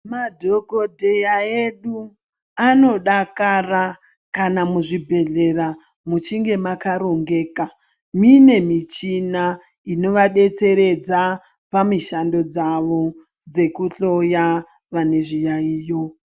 Madhogodheya edu anodakara kana muzvibhedhlera muchinge makarongeka muine michina inovabetseredza pamishando dzavo dzekuhloya vane zviyaiyo.